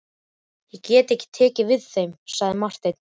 Ég get ekki tekið við þeim, sagði Marteinn.